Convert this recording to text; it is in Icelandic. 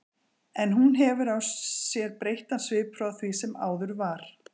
En hún hefur á sér breyttan svip frá því sem áður var.